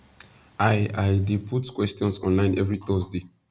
i i dey put questions online every thursday